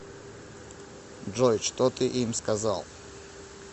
джой что ты им сказал